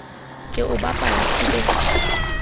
ke o bapala ke be